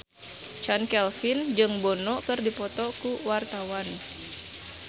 Chand Kelvin jeung Bono keur dipoto ku wartawan